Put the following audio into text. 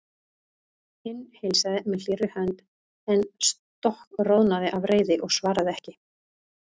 Hinn heilsaði með hlýrri hönd en stokkroðnaði af reiði og svaraði ekki.